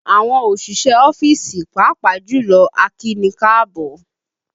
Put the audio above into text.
Àwọn òṣìṣẹ́ ọ́fíìsì, pàápàá jùlọ akíni káàbọ́